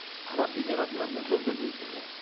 араб эмиратына мүлдем бермейді иә